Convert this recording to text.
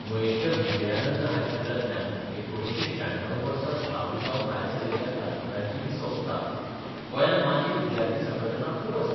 मयेंच्या विजयानंद हायस्कुलांतल्यान 1996 वर्सा धावी जावन भायर सरिल्ल्या क्लासमेटांची ही संस्था गोंयांत माजी विद्यार्थी संघटना खूब आसात.